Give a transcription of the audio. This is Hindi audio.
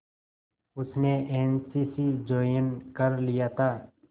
उसने एन सी सी ज्वाइन कर लिया था